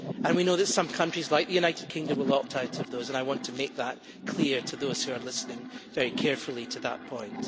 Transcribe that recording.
We know that some countries, like the United Kingdom, will opt out of those and I want to make that clear to those who are listening very carefully to that point.